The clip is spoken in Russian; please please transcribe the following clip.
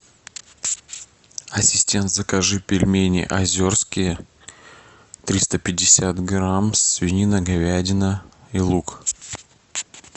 ассистент закажи пельмени озерские триста пятьдесят грамм свинина говядина и лук